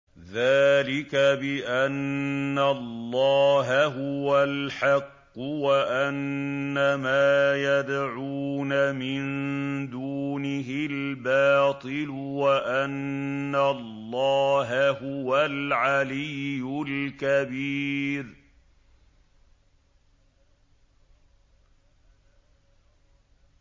ذَٰلِكَ بِأَنَّ اللَّهَ هُوَ الْحَقُّ وَأَنَّ مَا يَدْعُونَ مِن دُونِهِ الْبَاطِلُ وَأَنَّ اللَّهَ هُوَ الْعَلِيُّ الْكَبِيرُ